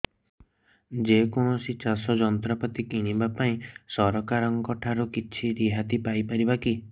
ଯେ କୌଣସି ଚାଷ ଯନ୍ତ୍ରପାତି କିଣିବା ପାଇଁ ସରକାରଙ୍କ ଠାରୁ କିଛି ରିହାତି ପାଇ ପାରିବା କି